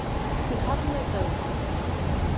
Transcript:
Því harðneita ég.